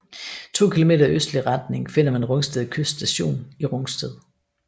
To kilometer i østlig retning finder man Rungsted Kyst Station i Rungsted